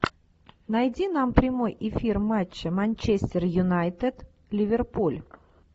найди нам прямой эфир матча манчестер юнайтед ливерпуль